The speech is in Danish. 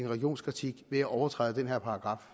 religionskritik ved at overtræde den her paragraf